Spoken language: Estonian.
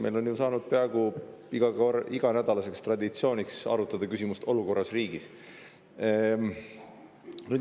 Meil on saanud peaaegu iganädalaseks traditsiooniks arutada küsimust "Olukord riigis".